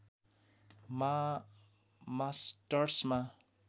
मा मास्टर्समा